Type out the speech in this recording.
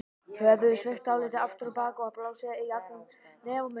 Höfuðið er sveigt dálítið aftur á bak og blásið í gegnum nef og munn.